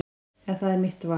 En það er mitt val.